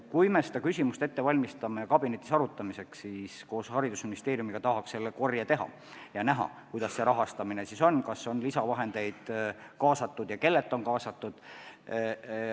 Kui me seda küsimust kabinetis aruteluks ette valmistame, siis tahaks koos haridusministeeriumiga selle infokorje teha, et näha, kuidas see rahastamine siis on: kas on lisavahendeid kaasatud ja kui on, siis kellelt.